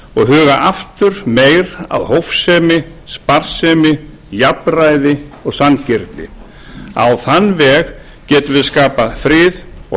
og huga aftur meira að hófsemi sparsemi jafnræði og sanngirni á þann veg getum við skapað frið og